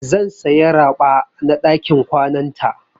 Zan saya raɓa na ɗakin kwananta.